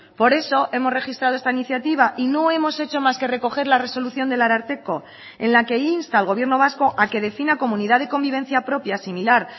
por eso hemos registrado esta iniciativa y no hemos hecho más que recoger la resolución del ararteko en la que insta al gobierno vasco a que defina comunidad de convivencia propia similar